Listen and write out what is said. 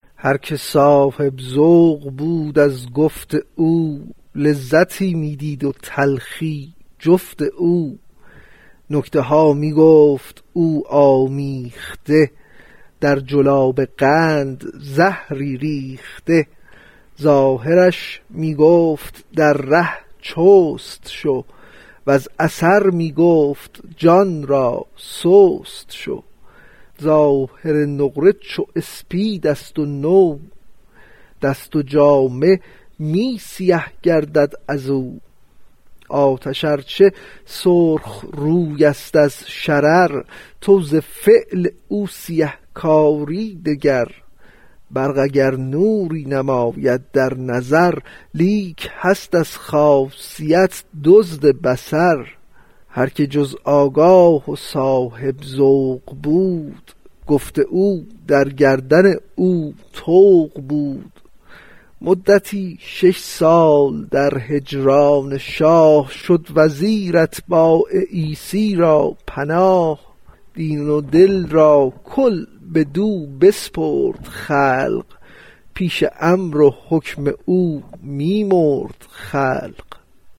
هر که صاحب ذوق بود از گفت او لذتی می دید و تلخی جفت او نکته ها می گفت او آمیخته در جلاب قند زهری ریخته ظاهرش می گفت در ره چست شو وز اثر می گفت جان را سست شو ظاهر نقره گر اسپید ست و نو دست و جامه می سیه گردد ازو آتش ار چه سرخ روی ست از شرر تو ز فعل او سیه کار ی نگر برق اگر نوری نماید در نظر لیک هست از خاصیت دزد بصر هر که جز آگاه و صاحب ذوق بود گفت او در گردن او طوق بود مدتی شش سال در هجران شاه شد وزیر اتباع عیسی را پناه دین و دل را کل بدو بسپرد خلق پیش امر و حکم او می مرد خلق